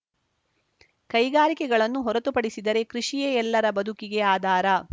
ಕೈಗಾರಿಕೆಗಳನ್ನು ಹೊರತು ಪಡಿಸಿದರೆ ಕೃಷಿಯೇ ಎಲ್ಲರ ಬದುಕಿಗೆ ಆಧಾರ